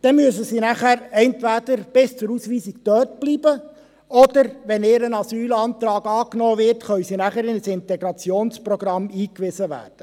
Dann müssen sie nachher entweder bis zur Ausweisung dort bleiben oder, wenn ihr Asylantrag angenommen wird, ins Integrationsprogramm eingewiesen werden.